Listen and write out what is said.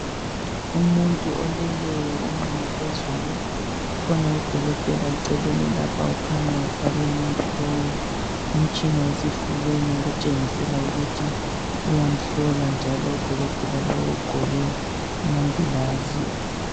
Umuntu omileyo onqunu phezulu kukhona udokotela eceleni lapha kukhanya efake umuntu lowu umtshina esifubeni okutshengisela ukuthi uyamhlola njalo udokotela lowo ugqoke amangilazi.